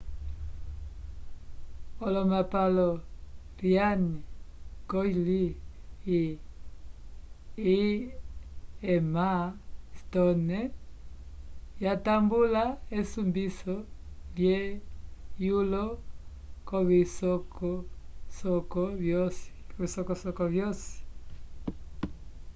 olomapalo ryan gosling e emma stone yatambula esumbiso lhe yulo covisocoso vyosi